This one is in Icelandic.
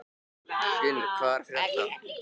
Gunnur, hvað er að frétta?